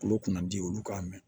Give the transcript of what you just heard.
Kolo kunnadi olu k'a minɛ